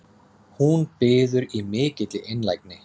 Hún biður í mikilli einlægni